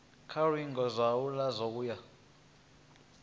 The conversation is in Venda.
kha luingo zwalo u ya